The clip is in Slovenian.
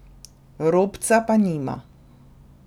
Robca pa nima.